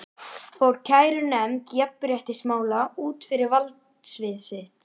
að ég sé munaðarlaus þýðir aðeins eitt.